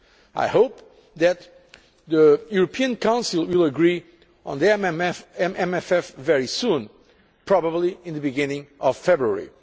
I hope that the European Council will agree on the MFF very soon, probably at the beginning of February.